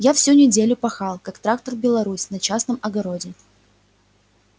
я всю неделю пахал как трактор беларусь на частном огороде